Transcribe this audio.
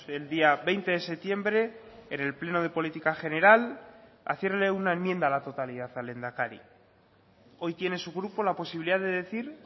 el día veinte de septiembre en el pleno de política general hacerle una enmienda a la totalidad al lehendakari hoy tiene su grupo la posibilidad de decir